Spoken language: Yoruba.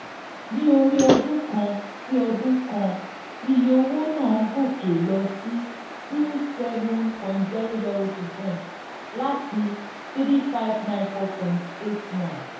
ní orí um ọdún kan sí ọdún kan iye owó náà gòkè lọ sí twenty seven point zero zero percent láti n three thousand five hundred ninety four point eight one